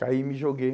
Caí e me joguei.